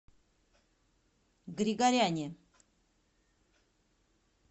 григоряне